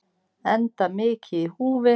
Enda mikið í húfi.